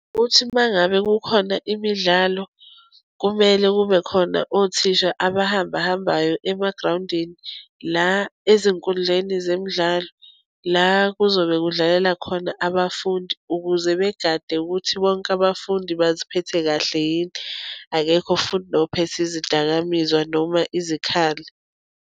Uthi uma ngabe kukhona imidlalo kumele kube khona othisha abahamba hambayo emagrawundini la ezinkundleni zemidlalo. La kuzobe kudlalela khona abafundi ukuze begade ukuthi bonke abafundi baziphethe kahle yini. Akekho futhi nophethe izidakamizwa noma izikhali.